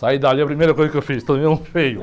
Saí dali, a primeira coisa que eu fiz, tomei um feio.